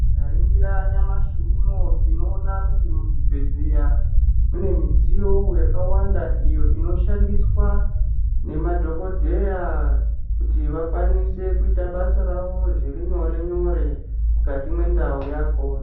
Tinganira nyamashi unou tinoona kuti muzvibhedhleya mune midziyo yakawanda iyo inoshandiswa nema dhokodheya kuti vakwanise kuita basa rawo zviri nyore nyore mukati mwe ndau yakhona